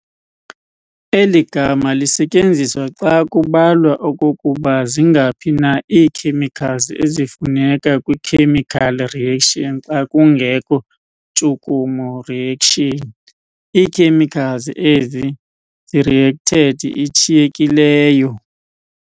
Eli gama lisetyenziswa xa kubalwa okokuba zingaphi na ii-chemicals ezifuneka kwi-chemical reaction xa kungekho ntshukumo reaction, ii-chemicals ezi-reacted, ishiyekileyo.